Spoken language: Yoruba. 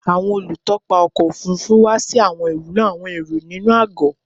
Awọn olutọpa ọkọ ofurufu wa si awọn iwulo awọn ero inu agọ